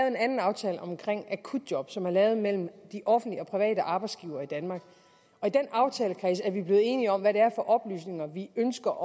en anden aftale om akutjob som er lavet mellem de offentlige og private arbejdsgivere i danmark og i den aftalekreds er vi blevet enige om hvad det er for oplysninger vi ønsker